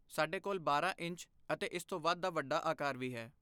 ਸਾਡੇ ਕੋਲ ਬਾਰਾਂ ਇੰਚ ਅਤੇ ਇਸ ਤੋਂ ਵੱਧ ਦਾ ਵੱਡਾ ਆਕਾਰ ਵੀ ਹੈ